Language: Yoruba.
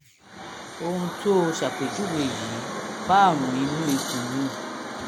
ohun tó o ṣàpèjúwe yìí bá àrùn inú ikùn mu